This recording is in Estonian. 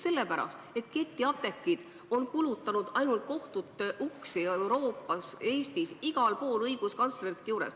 Sellepärast, et ketiapteegid on kulutanud kohtute uksi Eestis ja mujal Euroopas, igal pool käinud ka õiguskantslerite juures.